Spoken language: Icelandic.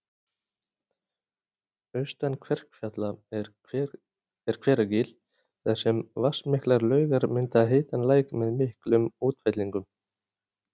Austan Kverkfjalla er Hveragil þar sem vatnsmiklar laugar mynda heitan læk með miklum útfellingum